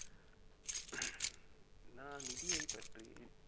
நான் நிதியைப் பற்றி